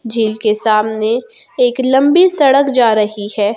झील के सामने एक लंबी सड़क जा रही है।